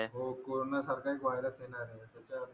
हो कोरोना सारखा एक वायरस येणार आहे